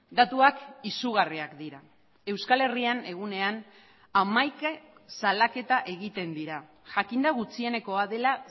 datuak izugarriak dira euskal herrian egunean hamaika salaketa egiten dira jakinda gutxienekoa dela